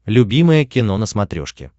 любимое кино на смотрешке